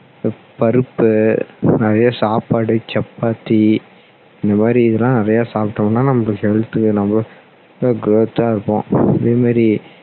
பருப்பு நிறைய சாப்பாடு சப்பாத்தி இந்த மாதிரி இதெல்லாம் நிறைய சாப்பிட்டோம்னா நம்ம health நம்ம growth தா இருப்போம் அதே மாதிரி